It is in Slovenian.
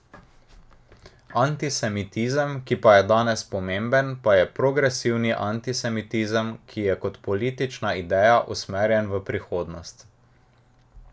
Antisemitizem, ki pa je danes pomemben, pa je progresivni antisemitizem, ki je kot politična ideja usmerjen v prihodnost.